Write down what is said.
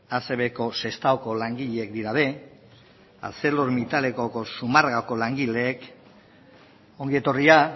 acbko sestaoko langileak arcelormittaleko zumarragako langileek ongi etorria